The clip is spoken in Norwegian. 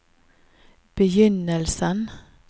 begynnelsen